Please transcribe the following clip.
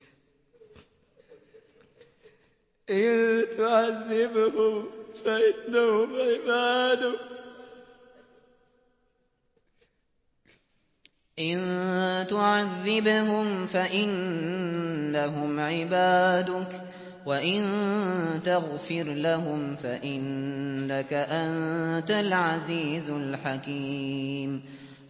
إِن تُعَذِّبْهُمْ فَإِنَّهُمْ عِبَادُكَ ۖ وَإِن تَغْفِرْ لَهُمْ فَإِنَّكَ أَنتَ الْعَزِيزُ الْحَكِيمُ